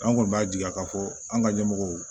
An kɔni b'a jira k'a fɔ an ka ɲɛmɔgɔw